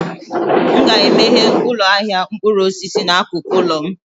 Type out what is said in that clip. M ga-emeghe ụlọ ahịa mkpụrụ osisi n'akụkụ ụlọ m